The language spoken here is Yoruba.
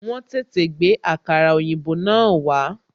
Wọn tètè gbé àkàrà òyìnbó náà wá